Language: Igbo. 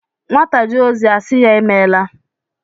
Nwata jee ozi a sị ya "Imeela"